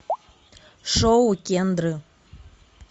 шоу кендры